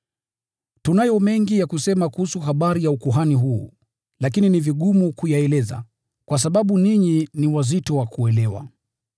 Tunayo mengi ya kusema kuhusu habari ya ukuhani huu, lakini ni vigumu kuyaeleza, kwa sababu ninyi ni wazito wa kuelewa.